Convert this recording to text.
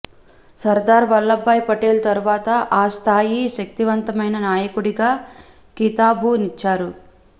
Sardar Vallabhbhai Patel తరువాత ఆ స్థాయి శక్తిమంతమైన నాయకుడిగా కితాబునిచ్చారు